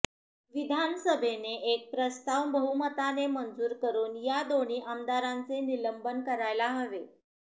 विधानसभेने एक प्रस्ताव बहुमताने मंजूर करून या दोन्ही आमदारांचे निलंबन करायला हवे